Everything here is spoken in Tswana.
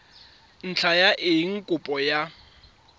ntlha ya eng kopo ya